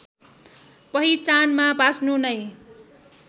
पहिचानमा बाँच्नु नै